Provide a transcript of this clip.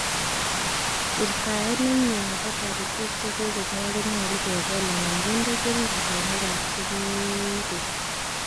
Wirtaet nemie nebo toritik chekomeyo konyolu kebel anan kindee keringonik ab chekibeek.